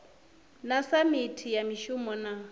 na samithi ya mishumo na